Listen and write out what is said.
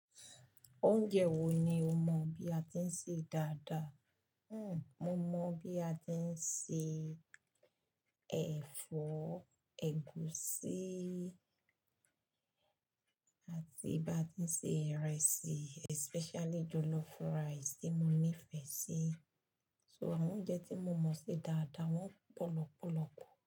Oúnjẹ wo ni o mọ bí a ti ń ṣe dáadáa? Mo mọ bí a ti ń ṣe ẹ̀fọ́ ẹ̀gúsí àti bí a ti ń ṣe ìrẹsì especially jollof rice tí mo nífẹ̀ẹ́ sí. So àwọn oúnjẹ tí mo mọ̀ ṣe dáadáa wọ́n pọ̀ lọ́pọ̀lọ́pọ̀.